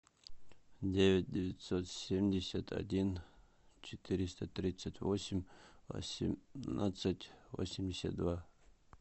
девять девятьсот семьдесят один четыреста тридцать восемь восемнадцать восемьдесят два